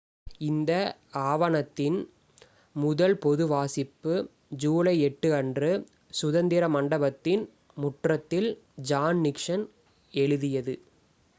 இந்த ஆவணத்தின் முதல் பொது வாசிப்பு ஜூலை 8 அன்று சுதந்திர மண்டபத்தின் முற்றத்தில் ஜான் நிக்சன் எழுதியது